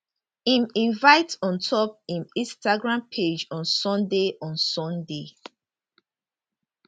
im invite ontop iminstagram page on sunday on sunday